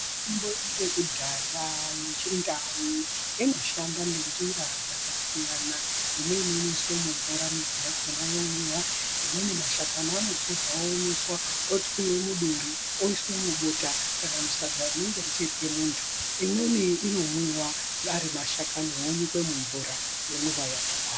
Mitombo yekudhaya yeChiNdau inoshanda ngenjira dzakasiyana. Imweni inoiswe mumvura midzi yakona yomwiwa. Imweni mashakani anotorwa oomeswa otwiwe muduri oiswe mubota kana mushadza rinenge richirye muntu. Imweni inomwiwa ari mashakani onyikwe mumvura yomwiwa yakadaro.